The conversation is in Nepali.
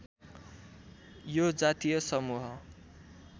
यो जातीय समूह